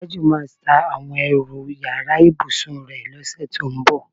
Tájù máa ta àwo̩n e̩rù yàrá ìbùsùn rè̩ ló̩sè̩ tó ń bò̩.